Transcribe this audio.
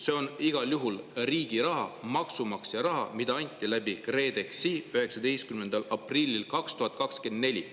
See on igal juhul riigi raha, maksumaksja raha, mida anti KredExi kaudu 19. aprillil 2024.